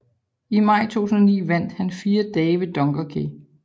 I maj 2009 vandt han Fire dage ved Dunkerque